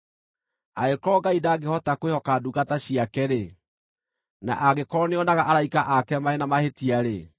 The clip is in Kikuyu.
Angĩkorwo Ngai ndangĩhota kwĩhoka ndungata ciake-rĩ, na angĩkorwo nĩonaga araika ake marĩ na mahĩtia-rĩ,